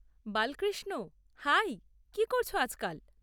Balkrishna, hi, কী করছ আজকাল?